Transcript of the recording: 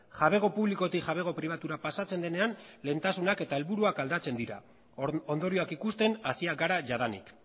jabego publikotik jabego pribatura pasatzen denean lehentasunak eta helburuak aldatzen dira ondorioak ikusten hasiak gara jadanik